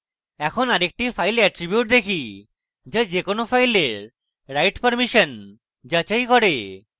এখন আরেকটি file attribute দেখি যা যে কোনো file write permission যাচাই করে